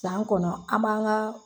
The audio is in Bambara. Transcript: San kɔnɔ an m'an ka